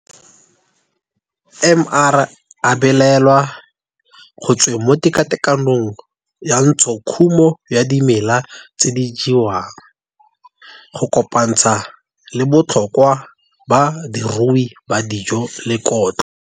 MR a balelwa go tsweng mo tekatekanong ya ntshokhumo ya dimela tse di jewang, go kopantsha le botlhokwa ba diruiwa ba dijo le kotlo.